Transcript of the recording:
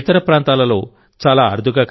ఇతర ప్రాంతాలలో చాలా అరుదుగా కనిపిస్తాయి